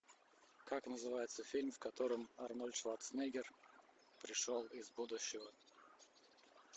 как называется фильм в котором арнольд шварцнегер пришел из будущего